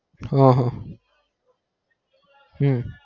હ હમ